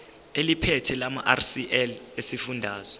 eliphethe lamarcl esifundazwe